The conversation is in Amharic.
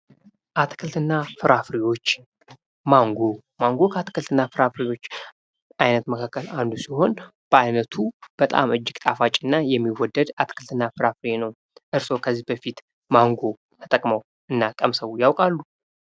አትክልትና ፍራፍሬዎች ማንጎ ከአትክልትና ፍራፍሬዎች አይነት መካከል አንዱ ሲሆን በአይነቱ በጣም እጅግ ጣፋጭና የሚወደድ አትክልትና ፍራፍሬ ነው። እርስዎ ከዚህ በፊት ማንጎ ተጠቅመው እና ቀምሰው ያውቃሉ?